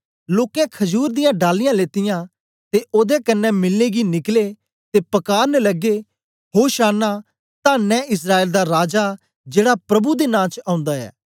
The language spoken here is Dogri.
लोकें खजूर दियां डालियाँ लेतीयां ते ओदे कन्ने मिलने गी निकले ते पकारन लगे होशाना तन्न ऐ इस्राएल दा राजा जेड़ा प्रभु दे नां च ओंदा ऐ